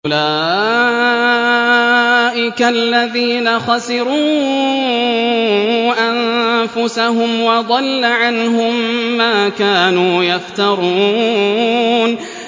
أُولَٰئِكَ الَّذِينَ خَسِرُوا أَنفُسَهُمْ وَضَلَّ عَنْهُم مَّا كَانُوا يَفْتَرُونَ